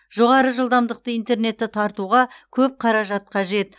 жоғары жылдамдықты интернетті тартуға көп қаражат қажет